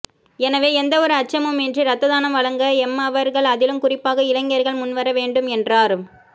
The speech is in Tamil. எனவே எந்தவொரு அச்சமுமின்றி இரத்தானம் வழங்க எம்மவர்கள் அதிலும் குறிப்பாக இளைஞர்கள் முன்வர வேண்டும் என்றார்